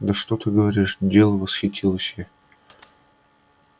да что ты говоришь делано восхитилась я